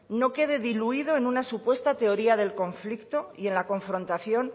no quede diluido en una supuesta teoría del conflicto y en la confrontación